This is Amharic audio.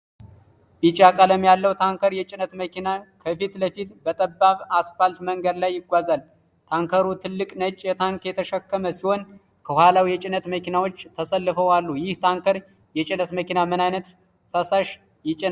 ቢጫ ቀለም ያለው ታንከር የጭነት መኪና፣ ከፊት ለፊቱ በጠባብ አስፋልት መንገድ ላይ ይጓዛል። ታንከሩ ትልቅ ነጭ ታንክ የተሸከመ ሲሆን፣ ከኋላው የጭነት መኪናዎች ተሰልፈው አሉ። ይህ ታንከር የጭነት መኪና ምን ዓይነት ፈሳሽ ይጭናል?